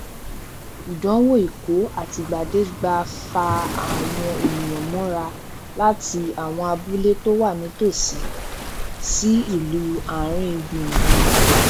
ìdánwò ikọ àtìgbàdégbà fa àwọn èninyàn mọra láti àwọn abúlé tó wà nítòsí sí ìlú àárin gbùngbùn